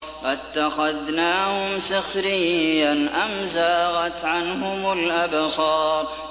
أَتَّخَذْنَاهُمْ سِخْرِيًّا أَمْ زَاغَتْ عَنْهُمُ الْأَبْصَارُ